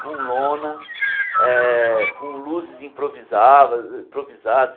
com lona, eh com luzes improvizava improvisadas.